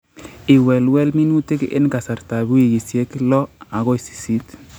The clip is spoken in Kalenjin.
Iwelwel minutik en kasartab wikisiek lo agoi sisiit